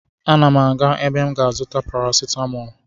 M na-aga ebe m ga-azụta parasetamọlụ